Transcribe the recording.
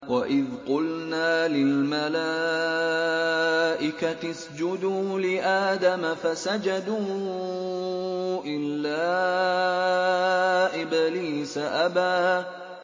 وَإِذْ قُلْنَا لِلْمَلَائِكَةِ اسْجُدُوا لِآدَمَ فَسَجَدُوا إِلَّا إِبْلِيسَ أَبَىٰ